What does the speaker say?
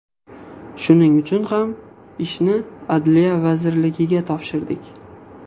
Shuning uchun ham, ishni Adliya vazirligiga topshirdik.